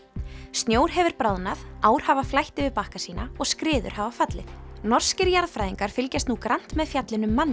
snjór hefur bráðnað ár hafa flætt yfir bakka sína og skriður hafa fallið norskir jarðfræðingar fylgjast nú grannt með fjallinu